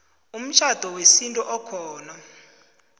umtjhado wesintu okhona